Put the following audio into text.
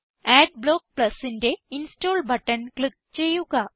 adblock Plusന്റെ install button click ചെയ്യുക